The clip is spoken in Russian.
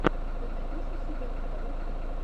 ты найдешь у себя лекарок в ютубе